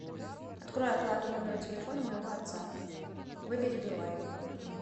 открой оплату номера телефона моего отца выбери билайн